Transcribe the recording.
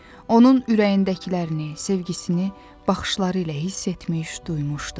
Onun ürəyindəkilərini, sevgisini, baxışları ilə hiss etmiş, duymuşdu.